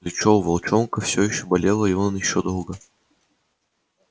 плечо у волчонка всё ещё болело и он ещё долго